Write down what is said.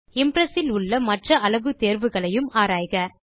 Impress இலுள்ள மற்ற அளவு தேர்வுகளையும் ஆராய்க